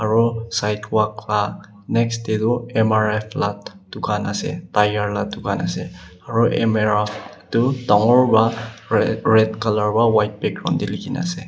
Aro sidewalk la next dae toh M_R_F la tukan asae tyre la tukan asae aro M-R-F toh dangor para red colour para white background dae likikina asae.